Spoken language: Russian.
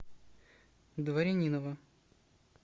дворянинова